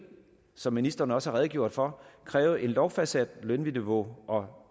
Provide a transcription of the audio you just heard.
som ministeren også redegjorde for kræve et lovfastsat lønniveau og